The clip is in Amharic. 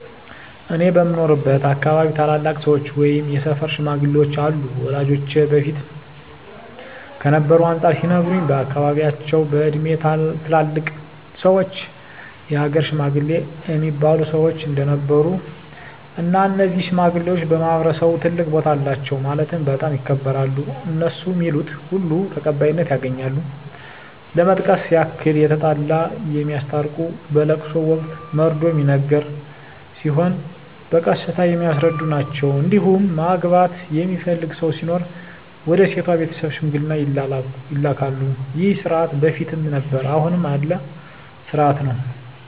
እኔ በምኖርበት አካባቢ ታላላቅ ሰዎች ወይም የሰፈር ሽማግሌዎች አሉ ወላጆቼ በፊት ከነበረው አንፃር ሲነግሩኝ በአካባቢያቸው በእድሜ ትላልቅ ሰዎች የሀገር ሽማግሌ እሚባሉ ሰዎች እንደነበሩ እና እነዚህ ሽማግሌዎች በማህበረሰቡ ትልቅ ቦታ አላቸው ማለትም በጣም ይከበራሉ እነሡ ሚሉት ሁሉ ተቀባይነት ያገኛል ለመጥቀስ ያክል የተጣላ የሚያስታርቁ በለቅሶ ወቅት መርዶ ሚነገር ሲሆን በቀስታ የሚያስረዱ ናቸዉ እንዲሁም ማግባት የሚፈልግ ሰው ሲኖር ወደ ሴቷ ቤተሰብ ሽምግልና ይላካሉ ይህ ስርዓት በፊትም ነበረ አሁንም ያለ ስርአት ነው።